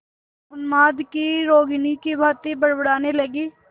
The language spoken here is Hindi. उन्माद की रोगिणी की भांति बड़बड़ाने लगी